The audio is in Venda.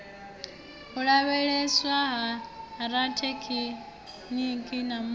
u lavheieswa ha rathekiniki muswa